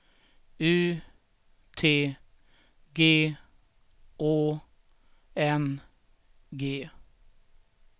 U T G Å N G